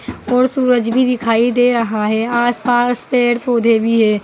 और सूरज भी दिखाई दे रहा है आसपास पेड़ पौधे भी है।